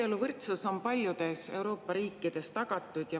Abieluvõrdsus on paljudes Euroopa riikides tagatud.